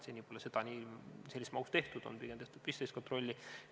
Seda pole seni selles mahus tehtud, pigem on tehtud pistelist kontrolli.